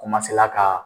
ka